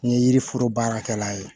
N ye yiriforo baarakɛla ye